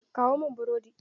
Kawo mun burodi!